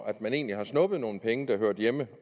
at man egentlig har snuppet nogle penge der hørte hjemme